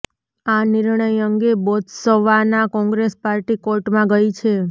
આ નિર્ણય અંગે બોત્સવાના કોંગ્રેસ પાર્ટી કોર્ટમાં ગઇ છે